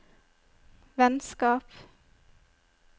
vennskap